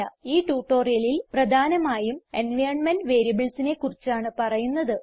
ഈ ട്യൂട്ടോറിയലിൽ പ്രധാനമായും എൻവൈറൻമെന്റ് variablesനെ കുറിച്ചാണ് പറയുന്നത്